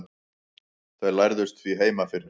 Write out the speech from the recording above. þau lærðust því heima fyrir